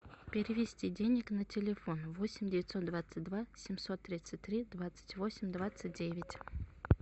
перевести денег на телефон восемь девятьсот двадцать два семьсот тридцать три двадцать восемь двадцать девять